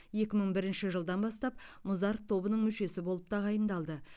екі мың бірінші жылдан бастап музарт тобының мүшесі болып тағайындалды